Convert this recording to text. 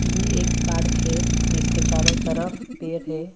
ये एक पार्क है जिसके चारों तरफ पेड है।